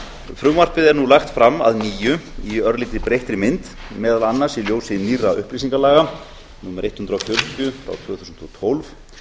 frumvarpið er nú lagt fram að nýju í örlítið breyttri mynd meðal annars í ljósi nýrra upplýsingalaga númer hundrað og fjörutíu tvö þúsund og tólf